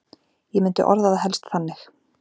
Ég myndi orða það helst þannig.